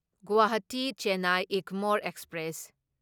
Guwahati Chennai Egmore express